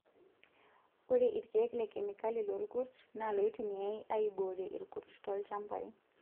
Ore irkiek lekemikali loorkurt naa iloitumiyay aiboorie irkurt tolchambai.